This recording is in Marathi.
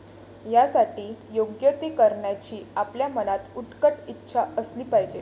यासाठी योग्य ते करण्याची आपल्या मनात उत्कट इच्छा असली पाहिजे.